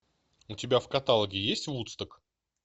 у тебя в каталоге есть вудсток